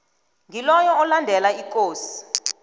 ngiloyo olandela ikosi